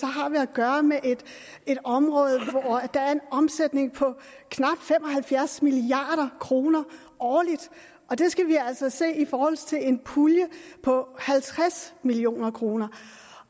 har vi at gøre med et område hvor der er en omsætning på knap fem og halvfjerds milliard kroner årligt og det skal altså ses i forhold til en pulje på halvtreds million kroner